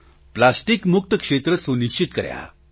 plastic મુક્ત ક્ષેત્ર સુનિશ્ચિત કર્યાં